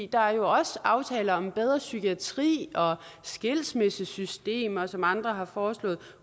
der er jo også aftaler om bedre psykiatri og skilsmissesystemer som andre har foreslået